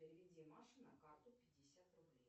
переведи маше на карту пятьдесят рублей